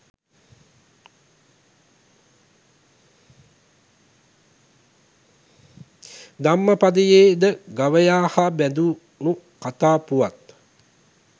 ධම්මපදයේ ද ගවයා හා බැඳුණු කතා පුවත්